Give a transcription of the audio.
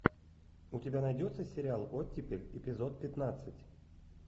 у тебя найдется сериал оттепель эпизод пятнадцать